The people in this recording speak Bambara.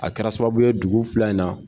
A kɛra sababu ye dugu fila in na